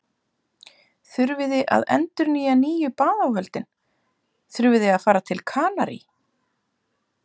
þurfiði að endurnýja nýju baðáhöldin, þurfiði að fara til Kanarí?